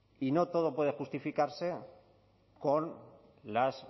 y no todo puede justificarse con las